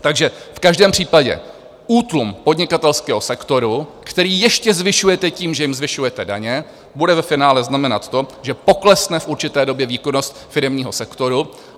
Takže v každém případě útlum podnikatelského sektoru, který ještě zvyšujete tím, že jim zvyšujete daně, bude ve finále znamenat to, že poklesne v určité době výkonnost firemního sektoru.